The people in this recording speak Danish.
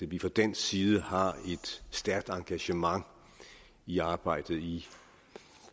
vi fra dansk side har et stærkt engagement i arbejdet i